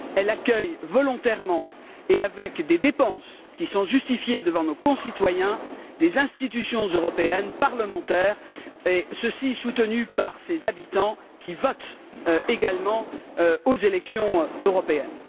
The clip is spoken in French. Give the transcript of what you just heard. Elle accueille volontairement, et avec des dépenses qui sont justifiées devant nos concitoyens, des institutions européennes parlementaires et ceci est soutenu par ses habitants, qui votent également aux élections européennes.